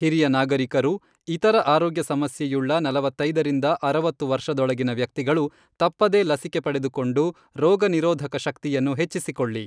ಹಿರಿಯ ನಾಗರಿಕರು, ಇತರ ಆರೋಗ್ಯ ಸಮಸ್ಯೆಯುಳ್ಳ ನಲವತ್ತೈದರಿಂದ ಅರವತ್ತು ವರ್ಷದೊಳಗಿನ ವ್ಯಕ್ತಿಗಳು ತಪ್ಪದೇ ಲಸಿಕೆ ಪಡೆದುಕೊಂಡು, ರೋಗ ನಿರೋಧಕ ಶಕ್ತಿಯನ್ನು ಹೆಚ್ಚಿಸಿಕೊಳ್ಳಿ.